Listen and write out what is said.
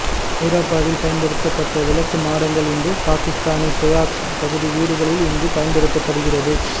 ஹரப்பாவில் பயன்படுத்தப்பட்ட விளக்கு மாடங்கள் இன்றும் பாகிஸ்தானி பிராக் பகுதி வீடுகளில் இன்றும் பயன்படுத்தப்படுகிறது